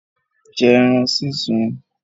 Jẹ́ ẹran súnsun!